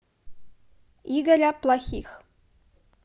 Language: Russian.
игоря плохих